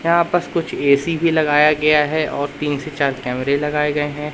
यहां पास कुछ ए_सी भी लगाया गया है और तीन से चार कैमरे लगाए गए हैं।